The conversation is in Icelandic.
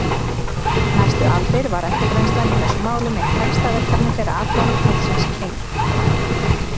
Næstu aldir var eftirgrennslan í þessum málum eitt helsta verkefni þeirra allan ársins hring.